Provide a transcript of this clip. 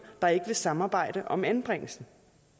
der ikke vil samarbejde om anbringelsen